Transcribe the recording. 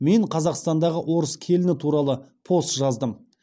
мен қазақстандағы орыс келіні туралы пост жаздым